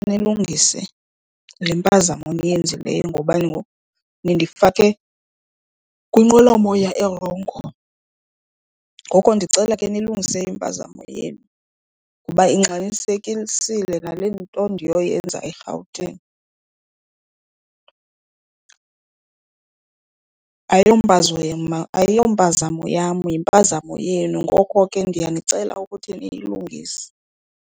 Nilungise le mpazamo niyenzileyo ngoba ngoku nindifake kwinqwelomoya erongo. Ngoko ndicela ke nilungise impazamo yenu ngoba ingxamisekisile nale nto ndinoyenza eRhawutini. Ayompazamo yam yimpazamo yenu, ngoko ke ndiyanicela ukuthi niyilungise.